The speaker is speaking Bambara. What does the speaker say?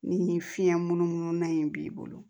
Ni fiɲɛ munumunu na in b'i bolo